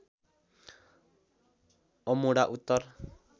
Amodha Uttar